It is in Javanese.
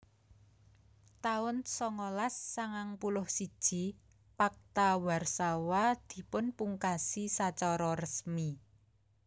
taun songolas sangang puluh siji Pakta Warsawa dipunpungkasi sacara resmi